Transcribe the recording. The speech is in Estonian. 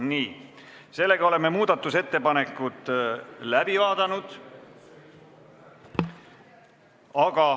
Nii, oleme muudatusettepanekud läbi vaadanud.